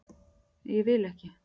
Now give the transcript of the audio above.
Ég vil ekki.